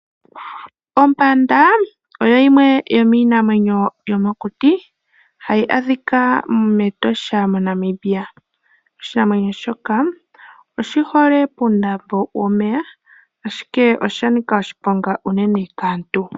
Ompanda oyo yimwe yomiinamwenyo yomokuti mbyoka hayi adhika mEtosha moNamibia. Oshinamwenyo shika oshihole pokuma pu na omeya, ashike oshanika oshiponga unene kaantu.